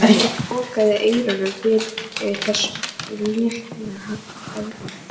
Hann lokaði eyrunum fyrir þessu létta hjali.